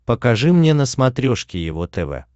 покажи мне на смотрешке его тв